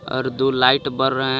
और दो लाइट बर रहे हैं.